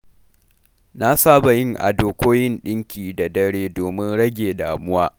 Na saba yin ado ko yin ɗinki da dare domin rage damuwa.